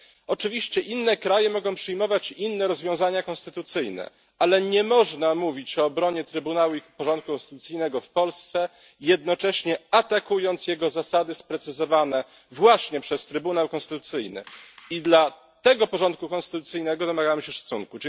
Oczywiście inne kraje mogą przyjmować inne rozwiązania konstytucyjne, ale nie można mówić o obronie Trybunału i porządku konstytucyjnego w Polsce, jednocześnie atakując jego zasady sprecyzowane właśnie przez Trybunał Konstytucyjny, i dla tego porządku konstytucyjnego domagamy się szacunku.